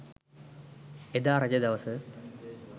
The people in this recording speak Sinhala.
එදා රජ දවස